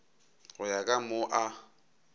go ya ka moo a